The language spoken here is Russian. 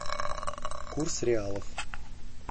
курс реалов